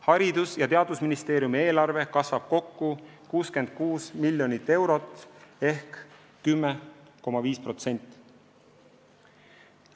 Haridus- ja Teadusministeeriumi eelarve kasvab kokku 66 miljonit eurot ehk 10,5%.